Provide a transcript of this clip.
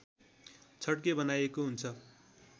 छड्के बनाइएको हुन्छ